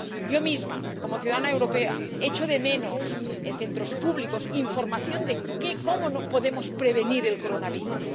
Yo misma, como ciudadana europea, echo de menos en centros públicos información de cómo podemos prevenir el coronavirus.